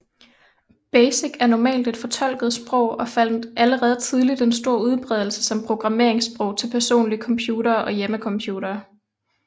BASIC er normalt et fortolket sprog og fandt allerede tidligt en stor udbredelse som programmeringssprog til personlige computere og hjemmecomputere